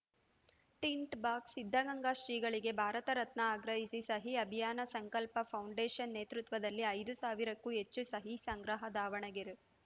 tint box Siddaganga ಶ್ರೀಗಳಿಗೆ ಭಾರತ ರತ್ನ ಆಗ್ರಹಿಸಿ ಸಹಿ ಅಭಿಯಾನ ಸಂಕಲ್ಪ ಫೌಂಡೇಷನ್‌ ನೇತೃತ್ವದಲ್ಲಿ ಐದು ಸಾವಿರಕ್ಕೂ ಹೆಚ್ಚು ಸಹಿ ಸಂಗ್ರಹ ದಾವಣಗೆರೆ